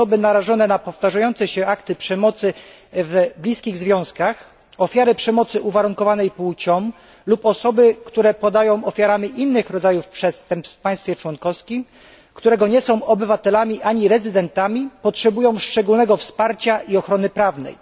osoby narażone na powtarzające się akty przemocy w bliskich związkach, ofiary przemocy uwarunkowanej płcią lub osoby, które padają ofiarą innych rodzajów przestępstw w państwie członkowskim, którego nie są obywatelami, ani rezydentami potrzebują szczególnego wsparcia i ochrony prawnej.